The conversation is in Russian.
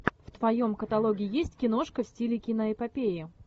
в твоем каталоге есть киношка в стиле киноэпопеи